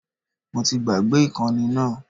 Mo ti gbàgbé ìkànnì náà